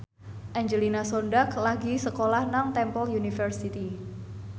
Angelina Sondakh lagi sekolah nang Temple University